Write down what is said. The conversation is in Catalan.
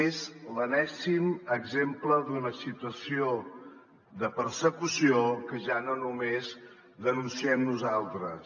és l’enèsim exemple d’una situació de persecució que ja no només denunciem nosaltres